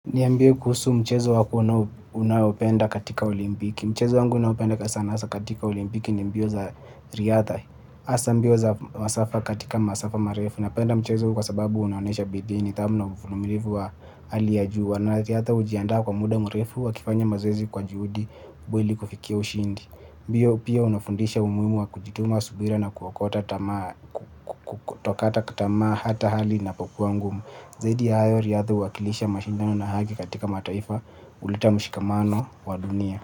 Niambie kuhusu mchezo wako unaopenda katika Olimpiki. Mchezo wangu ninaoupenda sana, hasa katika Olimpiki, ni mbio za riadha. Hasa mbio za masafa katika masafa marefu. Napenda mchezo huu kwa sababu unaonyesha bidii, nidhamu na uvumilivu wa hali ya juu. Na ratiba, hata ujiandae kwa muda mrefu, kufanya mazoezi kwa juhudi, hadi kufikia ushindi. Mbio pia hunafundisha umuhimu wa kujituma, subira na kutokata tamaa. Kutokata tamaa hata hali inapokuwa ngumu. Zaidi ya hayo, riadha huwakilisha mashindano na haki katika mataifa. Huleta mshikamano wa dunia.